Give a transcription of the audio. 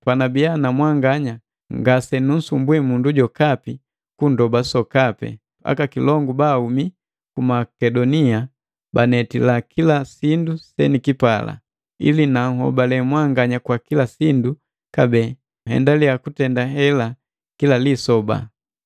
Panabii na mwanganya ngasenunsumbwi mundu jokapi kundoba sokapi, aka kilongu baahumi ku Makedonia banetila kila sindu senikipala. Ili nanhobale mwanganya kwa kila sindu kabee nhendale kutenda hela kila lisoba.